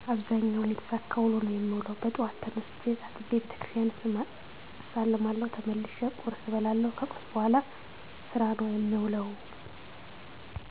አብዛኛውን የተሳካ ውሎ ነው የምውለው። በጠዋት ተነስቸ ታጥቤ ቤተክርስቲያን እሳለማለሁ ተመልሸ ቆርስ እበላለሁ ከቁርስ በኋላ ስራ ነው የምውለሁ